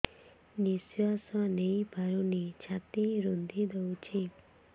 ନିଶ୍ୱାସ ନେଇପାରୁନି ଛାତି ରୁନ୍ଧି ଦଉଛି